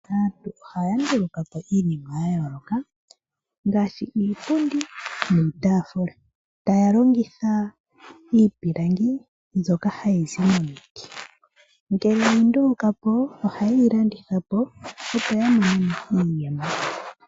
Aantu ohaya nduluka po iinima ya yooloka ngaashi iipundi niitaafula, taya longitha iipilangi mbyoka hayi zi momiti. Ngele ye yi nduluka po ohaye yi landitha po, opo ya mone iiyemo.